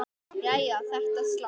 Jæja, þetta slapp.